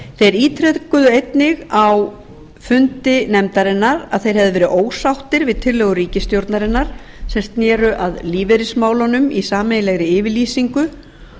þeir ítrekuðu einnig á fundi nefndarinnar að þeir hefðu verið ósáttir við tillögur ríkisstjórnarinnar sem sneru að lífeyrismálunum í sameiginlegri yfirlýsingu